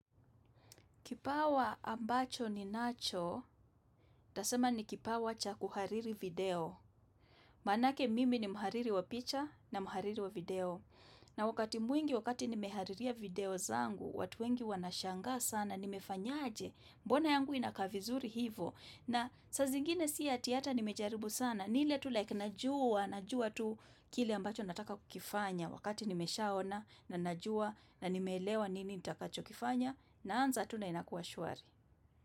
Kipawa ambacho ninacho, nitasema ni kipawa cha kuhariri video. Manake mimi ni mhariri wa picha na mhariri wa video. Na wakati mwingi wakati nimehaririya video zangu, watu wengi wanashanga sana, nimefanyaje mbona yangu inakaa vizuri hivo. Na saa zingine si ati ata nimejaribu sana, ni ile tu like najua, najua tu kile ambacho nataka kukifanya wakati nimeshaona na najua na nimeelewa nini nitakachokifanya na naanza tu na inakuwa shwari.